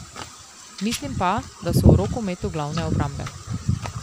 Mislim pa, da so v rokometu glavne obrambe.